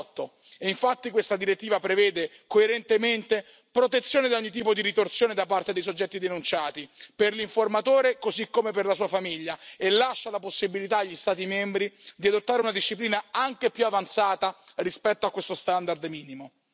2018. E infatti, questa direttiva prevede, coerentemente, protezione da ogni tipo di ritorsione da parte dei soggetti denunciati, per l'informatore così come per la sua famiglia e lascia la possibilità agli Stati membri di adottare una disciplina anche più avanzata rispetto a questo standard minimo.